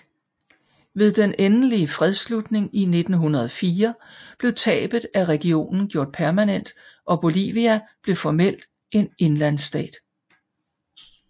Ved den endelige fredsslutning i 1904 blev tabet af regionen gjort permanent og Bolivia blev formelt en indlandsstat